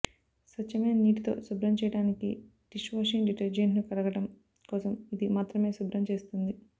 స్వచ్ఛమైన నీటితో శుభ్రం చేయడానికి డిష్ వాషింగ్ డిటర్జెంట్ను కడగడం కోసం ఇది మాత్రమే శుభ్రం చేస్తుంది